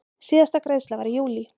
Síðasta greiðsla var í júlí.